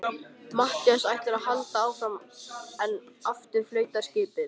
Matthías ætlar að halda áfram en aftur flautar skipið.